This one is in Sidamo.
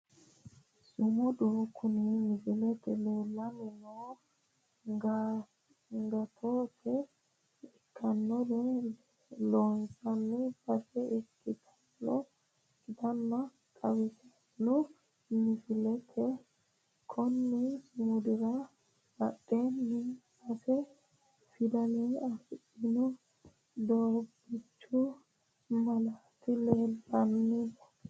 Sumudu kuni misilete leellanni noohu agattote ikkannore loonsan base ikkinota xawissanno misileeti konni sumudira badheenni sase fidale albaanni doobbichu malaati leellanno.